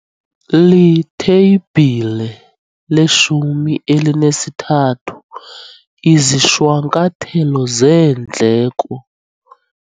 Iitheyibhile 1 3- Izishwankathelo zeendleko.